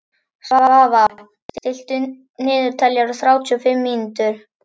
Svafar, stilltu niðurteljara á þrjátíu og fimm mínútur.